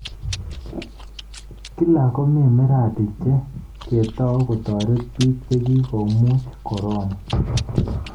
Kila komi miradi che ketao kotarit biik chekigomuuch korona